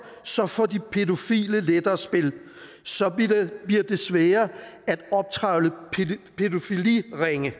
så får de pædofile lettere spil så bliver det sværere at optrævle pædofiliringe